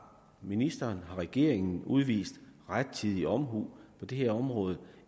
ministeren har regeringen udvist rettidig omhu på det her område